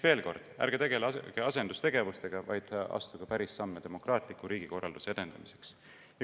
Veel kord: ärge tegelege asendustegevusega, vaid astuge päris samme demokraatliku riigikorralduse edendamiseks.